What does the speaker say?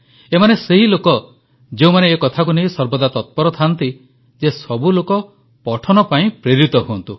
ଏମାନେ ସେହି ଲୋକ ଯେଉଁମାନେ ଏ କଥାକୁ ନେଇ ସର୍ବଦା ତତ୍ପର ଥାଆନ୍ତି ଯେ ସବୁ ଲୋକ ପଠନ ପାଇଁ ପ୍ରେରିତ ହୁଅନ୍ତୁ